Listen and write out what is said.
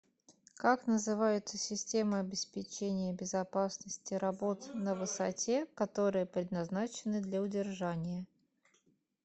как называются системы обеспечения безопасности работ на высоте которые предназначены для удержания